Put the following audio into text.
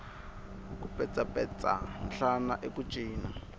ku petsapetsa nhlana i ku cina